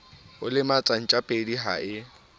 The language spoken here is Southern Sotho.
o lematsa ntjapedi ha e